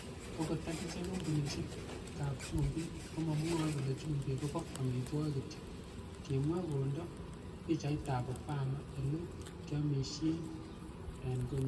"Okot akichek kompunisiekab chumbik, komomwoe kole chumbik ko bo amitwogik kityok,"Kimwa kondo pichaitab Obama ele kiomisien en konyin.